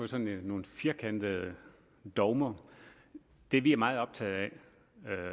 sådan nogle firkantede dogmer det vi er meget optaget af